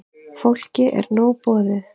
Fólki er nóg boðið.